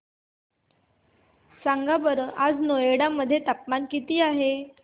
सांगा बरं आज नोएडा मध्ये तापमान किती आहे